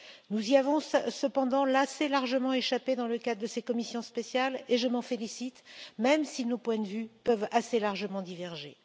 Nous y avons cependant assez largement échappé dans le cadre de ces commissions spéciales et je m'en félicite, même si nos points de vue peuvent assez largement diverger.